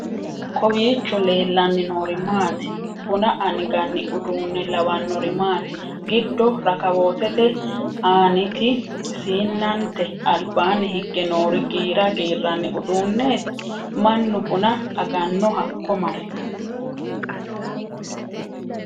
kowiicho leellanni noori maati buna anganni uduunne lawannori maati? giddo rakawootete aaniti siinnannate albaanni hige noori giira giirranni uduunneeti? mannu buna aganno hakko mare ?